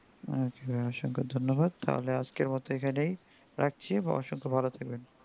আচ্ছা অসংক্ষ ধন্যবাদ তাহলে আজকের মতন এখানেই রাখছি ভবিষ্যতে ভালো থাকবেন